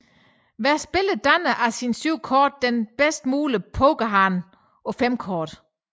Hver spiller danner af sine 7 kort den bedst mulige pokerhånd på 5 kort